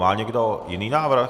Má někdo jiný návrh?